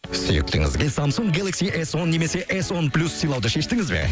сүйіктіңізге самсунг гелакси эс он немесе эс он плюс сыйлауды шештіңіз бе